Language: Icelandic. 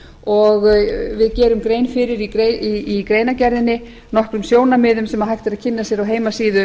og við gerum grein fyrir í greinargerðinni nokkrum sjónarmiðum sem hægt er að kynna sér á heimasíðu